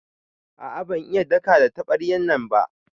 A'a ban iya daka da tabaryan nan ba.